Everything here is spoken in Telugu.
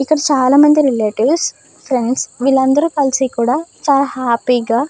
ఇక్కడ చాలామంది రిలేటివ్స్ ఫ్రెండ్స్ వీళ్ళందరూ కలిసి కూడా చాలా హ్యాపీ గా --